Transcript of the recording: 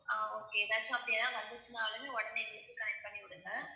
ஆஹ் okay ஏதாச்சும் அப்படி எதாவது வந்துச்சுன்னாலுமே உடனே எங்களுக்கு connect பண்ணிவிடுங்க